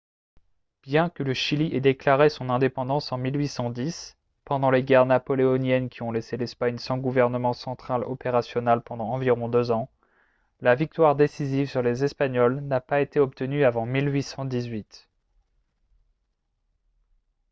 bien que le chili ait déclaré son indépendance en 1810 pendant les guerres napoléoniennes qui ont laissé l'espagne sans gouvernement central opérationnel pendant environ deux ans la victoire décisive sur les espagnols n'a pas été obtenue avant 1818